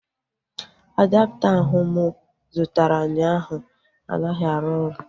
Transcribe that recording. Adapta ahu mụ zụtara ụnyaahụ anaghị arụ ọrụ